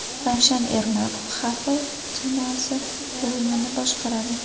Ravshan Ermatov Xavi jamoasi o‘yinini boshqaradi.